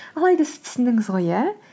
алайда сіз түсіндіңіз ғой иә